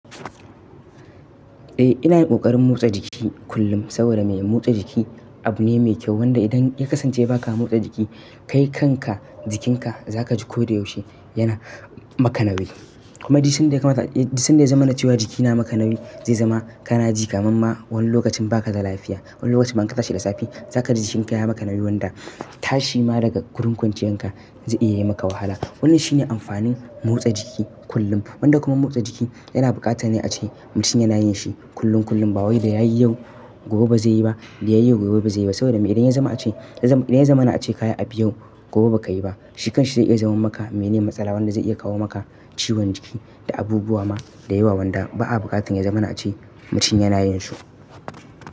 Eh ina yin ƙoƙarin motsa jiki kullum saboda me? Motsa jiki abu ne mai kyau wanda idan ya kasance ba ka motsa jiki, kai kanka jikinka za ka ji ko da yaushe yana maka nauwi. Kuma duk sanda ya kamata, duk sanda ya zama na cewa jiki yana maka nauwi zai zama kanaji kaman ma wani lokacin ba ka da lafiya. Wani lokacin ma inka tashi da safe za ka ji jikinka ya yi maka nauwi wanda tashi ma daga gurin kwanciyan ka zai iya yi maka wahala. Wannan shi ne amfanin motsa jiki kullum. Wanda kuma motsa jiki, yana buƙatan a ce mutum yana yin shi kullum kullum ba wai da ya yi yau gobe ba zai yi ba, da ya yi yau gobe ba zai yi ba saboda me? Idan ya zama a ce, idan ya zama na a ce kaya a biyu gobe ba ka yi ba, shi kanshi zai iya zaman maka mene matsala wanda zai iya kawo maka ciwon jiki da abubuwa ma da yawa wanda ba a buƙatan ya zamana a ce mutum yana yin shi.